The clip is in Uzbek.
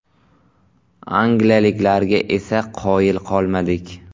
Angliyaliklarga esa qoyil qolmadik.